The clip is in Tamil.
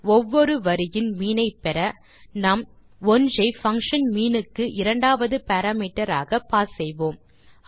ஒவ்வொரு வரியின் மீன் ஐ பெற நாம் 1 ஐ பங்ஷன் மீன் க்கு இரண்டாவது பாராமீட்டர் ஆக பாஸ் செய்வோம்